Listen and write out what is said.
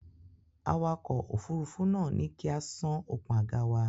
Awakọ̀ òfurufú náà ní kí á sán okùn àga wa.